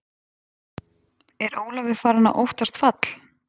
Er Ólafur farinn að óttast fall?